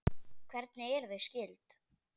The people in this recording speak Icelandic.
Hvernig eru þau skyld?